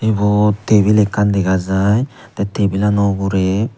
ibot tablet ekkan dega jiy the table ano ugure.